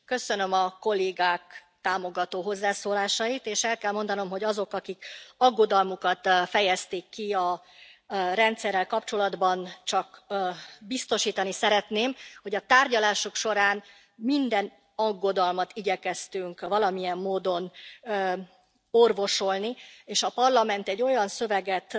Köszönöm a kollégák támogató hozzászólásait, és el kell mondanom azoknak, akik aggodalmukat fejezték ki a rendszerrel kapcsolatban, hogy biztosítani szeretném őket arról, hogy a tárgyalások során minden aggodalmat igyekeztünk valamilyen módon orvosolni, és a Parlament olyan szöveget